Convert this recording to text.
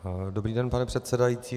Dobrý den, pane předsedající.